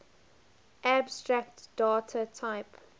abstract data type